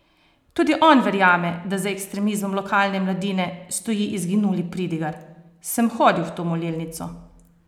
Tudi on verjame, da za ekstremizmom lokalne mladine, stoji izginuli pridigar: "Sem hodil v to molilnico.